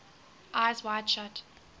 eyes wide shut